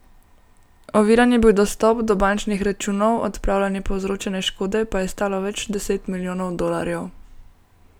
Oviran je bil dostop do bančnih računov, odpravljanje povzročene škode pa je stalo več deset milijonov dolarjev.